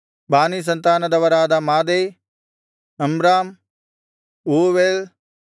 ಬಾನೀ ಸಂತಾನದರಾದ ಮಾದೈ ಅಮ್ರಾಮ್ ಊವೇಲ್